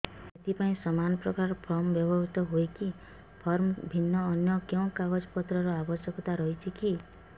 ଏଥିପାଇଁ ସମାନପ୍ରକାର ଫର୍ମ ବ୍ୟବହୃତ ହୂଏକି ଫର୍ମ ଭିନ୍ନ ଅନ୍ୟ କେଉଁ କାଗଜପତ୍ରର ଆବଶ୍ୟକତା ରହିଛିକି